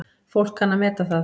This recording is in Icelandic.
Fólk kann að meta það.